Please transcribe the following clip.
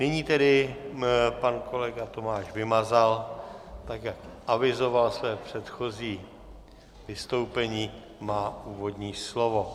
Nyní tedy pan kolega Tomáš Vymazal tak, jak avizoval své předchozí vystoupení, má úvodní slovo.